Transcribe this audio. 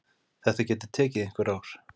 Þetta getur tekið einhver ár.